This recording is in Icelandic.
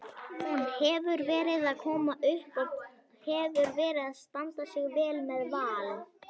Hún hefur verið að koma upp og hefur verið að standa sig vel með Val.